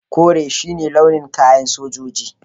Kore shi ne launin kayan sojoji.